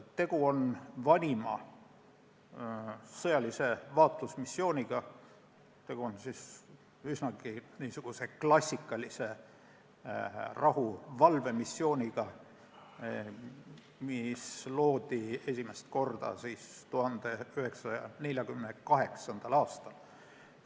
Tegu on vanima sõjalise vaatlusmissiooniga ja üsnagi klassikalise rahuvalvemissiooniga, mis loodi esimest korda 1948. aastal.